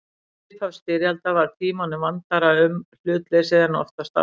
Við upphaf styrjaldar var Tímanum vandara um hlutleysið en oftast áður.